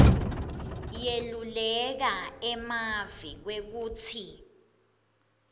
yeluleke emave kwekutsi